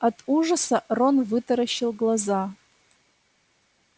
от ужаса рон вытаращил глаза